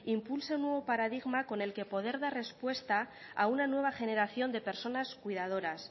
impulse un nuevo paradigma con el que poder dar respuesta a una nueva generación de personas cuidadoras